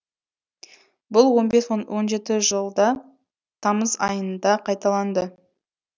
бұл он бес он он жеті жылда тамыз айында қайталанды